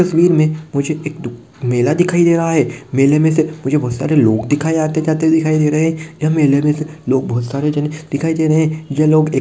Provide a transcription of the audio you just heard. तस्वीर में मुझे एक मेला दिखाई दे रहा है मेले में से बहुत सारे लोग आते जाते दिखाई दे रहे है ये मेला में से लोग बहुत सारे जन दिखाई दे रहे है ये लोग एक --